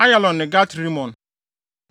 Ayalon ne Gat-Rimon.